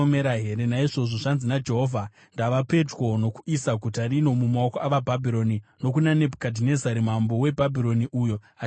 Naizvozvo zvanzi naJehovha: ndava pedyo nokuisa guta rino mumaoko avaBhabhironi, nokuna Nebhukadhinezari mambo weBhabhironi, uyo acharikunda.